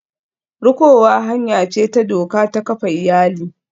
Rikowa hanya ce ta doka ta kafa iyali.